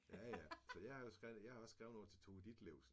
Ja ja så jeg har jo skrevet jeg har også skrevet nogen til Tove Ditlevsen